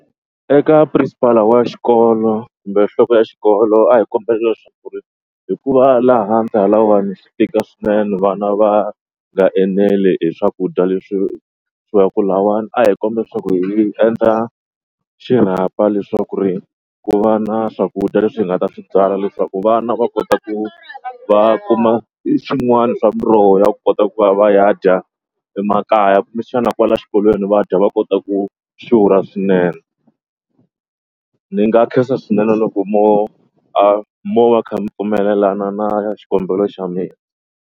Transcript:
Eka principal wa xikolo kumbe nhloko ya xikolo a hi kombela leswaku ri hikuva laha handle lahawani swi tika swinene vana va nga eneli hi swakudya leswi swi va ku lawani. A hi kombela leswaku hi endla xirhapa leswaku ri ku va na swakudya leswi hi nga ta swi byala leswaku vana va kota ku va kuma swin'wana swa miroho ya ku kota ku va va ya dya emakaya kumbexana kwala xikolweni vadya va kota ku xurha swinene. Ni nga khensa swinene loko mo a mo va kha mi pfumelelana na xikombelo xa mina.